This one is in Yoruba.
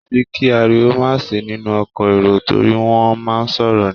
Kò sí kí ariwo má sì í nínú ọkọ̀ èrò torí wọ́n á máa sọ̀rọ̀ ni.